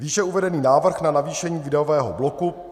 Výše uvedený návrh na navýšení výdajového bloku